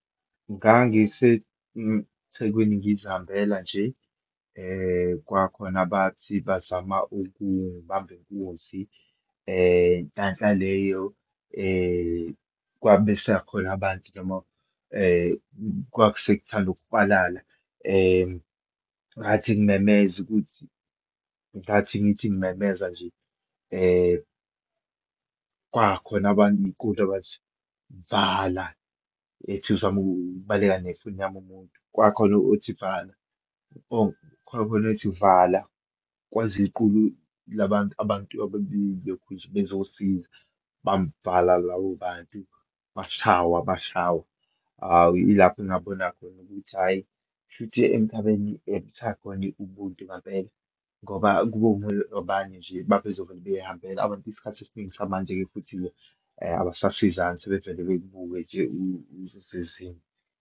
Ngangise Thekweni ngizihambela nje kwakhona abathi bazama ukungibamba inkunzi, nhlanhla leyo kwabesakhona abantu noma kwasekuthanda ukuhwalala. Ngathi ngimemeza ukuthi, ngathi ngithi ngimemeza nje kwakhona abayiqulu abathi vala, ethi uzama ukubaleka nefoni yami umuntu, kwakhona othi vala, khona othi vala Kweza iqulu la bantu abantu abebalokhunje bezosiza, bamvala labo bantu, bashaywa, bashaywa. Hhawu, ilapho engabona khona ukuthi hhayi, kushuthi emhlabeni ekusakhona i-ubuntu ngampela, ngoba kube abanye nje babezovela behayimbela. Abantu isikhathi esiningi samanje-ke futhi abasasizani, sebevele bekubuke nje usesizini.